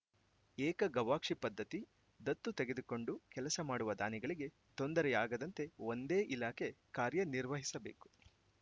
ಏಕಗವಾಕ್ಷಿ ಪದ್ಧತಿ ದತ್ತು ತೆಗೆದುಕೊಂಡು ಕೆಲಸ ಮಾಡುವ ದಾನಿಗಳಿಗೆ ತೊಂದರೆಯಾಗದಂತೆ ಒಂದೇ ಇಲಾಖೆ ಕಾರ್ಯ ನಿರ್ವಹಿಸಬೇಕು